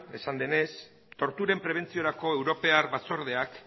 esan zenez torturen prebentziorako europar batzordeak